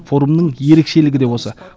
форумның ерекшелігі де осы